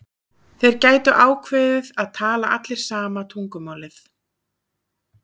Þeir gætu ákveðið að tala allir sama tungumálið.